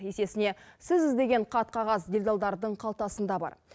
есесіне сіз іздеген қат қағаз делдалдардың қалтасында бар